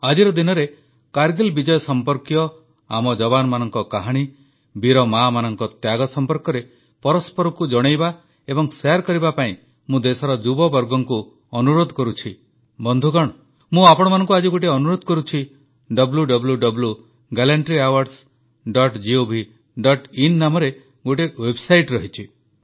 ଆଜିର ଦିନରେ କାରଗିଲ ବିଜୟ ସମ୍ପର୍କୀୟ ଆମ ଯବାନମାନଙ୍କ କାହାଣୀ ବୀର ମାମାନଙ୍କ ତ୍ୟାଗ ସମ୍ପର୍କରେ ପରସ୍ପରଙ୍କୁ ଜଣାଇବା ଏବଂ ଶେୟାର କରିବା ପାଇଁ ମୁଁ ଦେଶର ଯୁବବର୍ଗଙ୍କୁ ଅନୁରୋଧ କରୁଛି ବନ୍ଧୁଗଣ ମୁଁ ଆପଣମାନଙ୍କୁ ଆଜି ଗୋଟିଏ ଅନୁରୋଧ କରୁଛି wwwgallantryawardsgovin ନାମରେ ଗୋଟିଏ ୱେବସାଇଟ୍ ରହିଛି